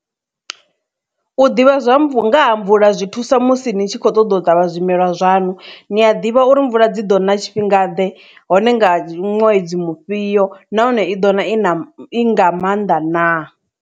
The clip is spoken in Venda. U ḓivha zwa mvu, nga ha mvula zwi thusa musi ni tshi kho ṱoḓa u ṱavha zwimela zwaṋu ni a ḓivha uri mvula dzi ḓo na tshifhinga ḓe hone nga ṅwedzi mufhio nahone i ḓo na i na i nga maanḓa na.